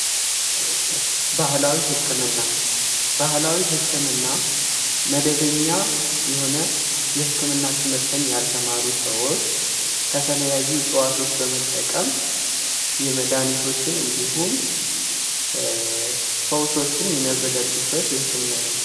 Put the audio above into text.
ባህላዊ ህክምና፦ ባህላዊ ህክምና መደበኛ የሆነ የህክምና ትምህርትን ያልማሩ ሰዎች ከተለያዩ እፅዋቶችን በመጠቀም የመደሀኒቶችን እንዲሁም ፈውሶችን የሚያዘጋጁበት የህክምና አይነት ነው።